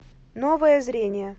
новое зрение